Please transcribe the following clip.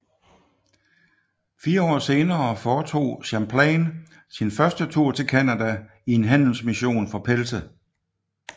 Fire år senere foretog Champlain sin første tur til Canada i en handelsmission for pelse